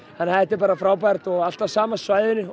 þetta er bara frábært og allt á sama svæðinu og